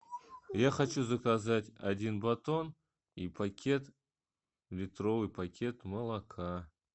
я хочу заказать один батон и пакет литровый пакет молока